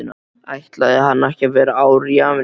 Ætlaði hann ekki að vera ár í Ameríku?